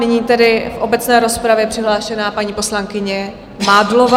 Nyní tedy v obecné rozpravě přihlášená paní poslankyně Mádlová.